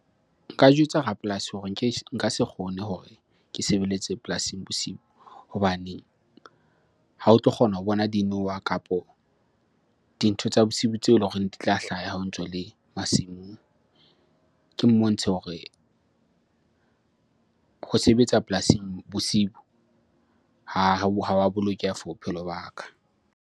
Nka jwetsa rapolasi hore nka se kgone hore ke sebeletse polasing bosibu hobane ha o tlo kgona ho bona dinoha kapo dintho tsa bosiu tseo eleng hore di tla hlaha ha o ntso le masimong. Ke mmontshe hore ho sebetsa polasing bosibu ha wa bolokeha for bophelo ba ka.